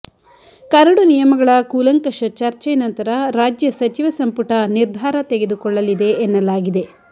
curd ನಿಯಮಗಳ ಕೂಲಂಕಷ ಚರ್ಚೆ ನಂತರ ರಾಜ್ಯ ಸಚಿವ ಸಂಪುಟ ನಿರ್ಧಾರ ತೆಗೆದುಕೊಳ್ಳಲಿದೆ ಎನ್ನಲಾಗಿದೆ